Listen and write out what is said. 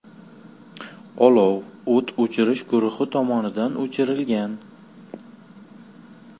Olov o‘t o‘chirish guruhi tomonidan o‘chirilgan.